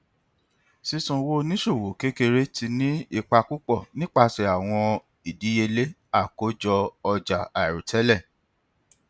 sisan owo oniṣòwo kekere ti ni ipa pupọ nipasẹ awọn idiyele akojo oja airotẹlẹ